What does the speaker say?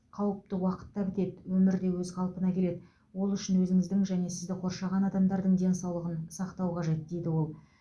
қауіпті уақыт та бітеді өмір де өз қалпына келеді ол үшін өзіңіздің және сізді қоршаған адамдардың денсаулығын сақтау қажет дейді ол